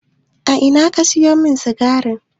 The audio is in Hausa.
A ina ka sayo min sikarin?